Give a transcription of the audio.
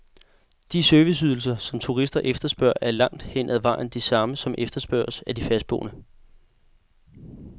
De serviceydelser, som turister efterspørger, er langt hen ad vejen de samme, som efterspørges af de fastboende.